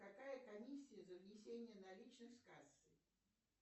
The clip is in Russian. какая комиссия за внесение наличных с кассы